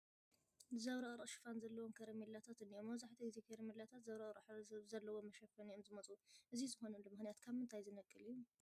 ዘብረቕርቕ ሽፋን ዘለዎም ከረሜላታት እኔዉ፡፡ መብዛሕትኡ ግዜ ከረሜላታት ዘብረቕርቕ ሕብሪ ብዘለዎ መሸፈኒ እዮም ዝመፁ፡፡ እዚ ዝኾነሉ ምኽንያት ካብ ምንታይ ዝነቅል እዩ?